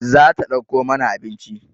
Za ta ɗauko mana abinci